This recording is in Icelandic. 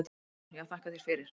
Guðrún: Já þakka þér fyrir.